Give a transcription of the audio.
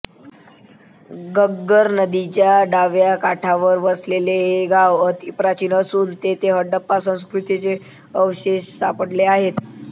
घग्गर नदीच्या डाव्या काठावर वसलेले हे गाव अतिप्राचीन असून येथे हडप्पा संस्कृतीचे अवशेष सापडले आहेत